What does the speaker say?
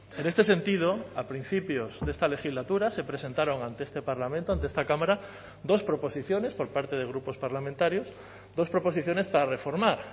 en este sentido a principios de esta legislatura se presentaron ante este parlamento ante esta cámara dos proposiciones por parte de grupos parlamentarios dos proposiciones para reformar